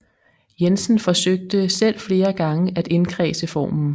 Jensen forsøgte selv flere gange at indkredse formen